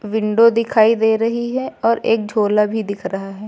Window दिखाई दे रही है और एक झोला भी दिख रहा है।